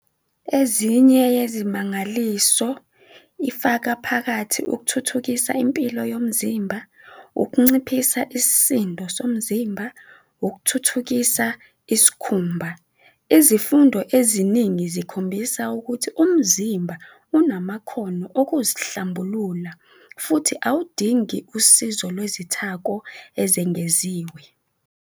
Ezinye yezimangaliso ifaka phakathi ukuthuthukisa impilo yomzimba, ukunciphisa isisindo somzimba, ukuthuthukisa isikhumba. Izifundo eziningi zikhombisa ukuthi umzimba unamakhono okuzihlambulula futhi awudingi usizo lwezithako ezengeziwe.